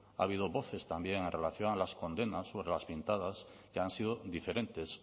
ha habido voces también en relación con las condenas sobre las pintadas que han sido diferentes